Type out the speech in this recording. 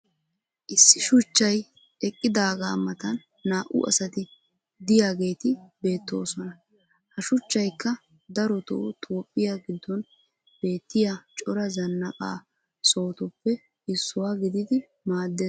issi shuchchay eqqidaagaa matan naa'u asati diyaageetti beetoosona. ha shuchchaykka darotoo toophphiyaa giddon beettiya cora zanaqqa sohotuppe issuwaa gididi maaddees.